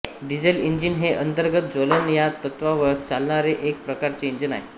diesel engine हे अंतर्गत ज्वलन ह्या तत्त्वावर चालणारे एक प्रकारचे इंजिन आहे